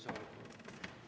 Palun lisaaega.